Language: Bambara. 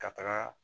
Ka taga